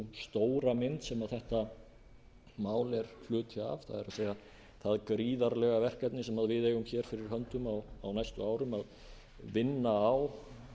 sú stóra mynd sem þetta mál er hluti af það er það gríðarlega verkefni sem við eigum fyrir höndum á næstu árum að vinna á